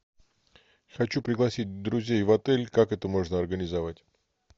хочу пригласить друзей в отель как это можно организовать